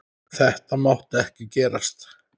Þetta mátti ekki gerast!